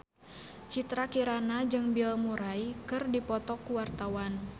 Citra Kirana jeung Bill Murray keur dipoto ku wartawan